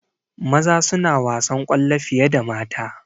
Maza suna wasan kwallo fiye da mata